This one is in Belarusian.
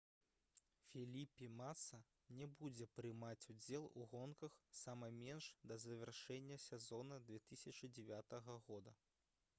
феліпі маса не будзе прымаць удзел у гонках сама менш да завяршэння сезона 2009 года